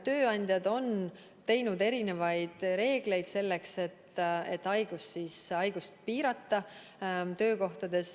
Tööandjad on kehtestanud mitmesuguseid reegleid selleks, et töökohtades haigust piirata.